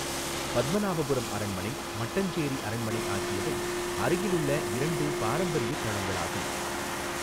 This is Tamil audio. பத்மநாபபுரம் அரண்மனை, மட்டஞ்சேரி அரண்மனை ஆகியவை அருகிலுள்ள இரண்டு பாரம்பரிய தளங்களாகும்.